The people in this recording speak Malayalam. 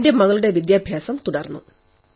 എന്റെ മകളുടെ വിദ്യാഭ്യാസം തുടർന്നു